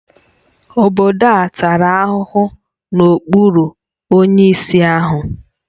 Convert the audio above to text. Obodo a tara ahụhụ n'okpuru onyeisi ha